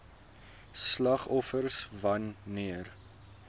slagoffers wan neer